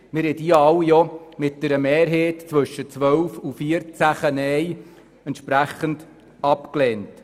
Sie wurden alle mit einer Mehrheit von 12 bis 14 Neinstimmen abgelehnt.